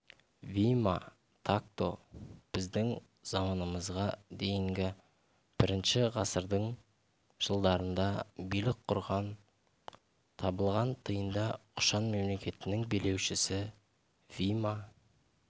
вима такто біздің заманымызға дейінгі бірінші ғасырдың жылдарында билік құрған табылған тиында құшан мемлекетінің билеушісі вима